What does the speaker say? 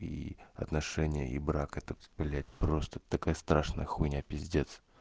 и отношения и брак это блять просто такая страшная хуйня пиздец